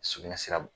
Sugunɛ sira